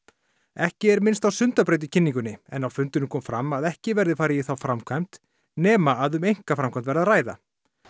ekki er minnst á Sundabraut í kynningunni en á fundinum kom fram að ekki verði farið í þá framkvæmd nema að um einkaframkvæmd verði að ræða